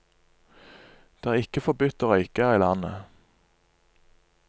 Det er ikke forbudt å røyke her i landet.